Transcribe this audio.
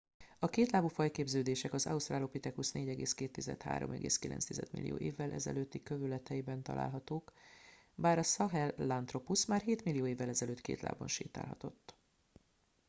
a kétlábú fajképződések az australopithecus 4,2-3,9 millió évvel ezelőtti kövületeiben találhatók bár a sahelanthropus már hétmillió évvel ezelőtt két lábon sétálhatott